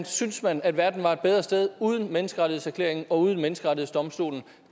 synes man at verden var et bedre sted uden menneskerettighedserklæringen og uden menneskerettighedsdomstolen